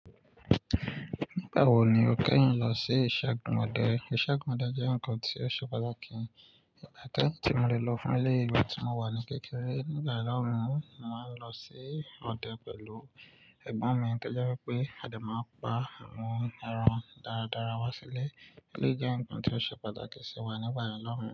Nígbà wo ni o kẹ́yìn lọ sí isẹ́gun ọdẹ? Isẹ́gun ọdẹ jẹ́ nǹkan tó ṣe pàtàkì tí mo lè lọ fún ilé ìwe tí mo wà ní kékeré. Nígbà ìlọ́run, màá ń lọ sí ọdẹ pẹ̀lú ẹ̀gbọ́n mi. Tojẹ́ wípé a dẹ máa pa àwọn ẹran dáradára wá sílé. Eleyi jẹ́ nǹkan tó ṣe pàtàkì sí wa nígbà lọ́run.